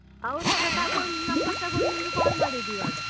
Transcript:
ಅವ್ರತ್ರ ತಗೊಂಡ್ number ತಗೊಂಡ್ ನಿನ್ಗೆ call ಮಾಡಿದ್ದೀವಾಗ.